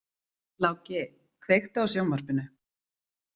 Láki, kveiktu á sjónvarpinu.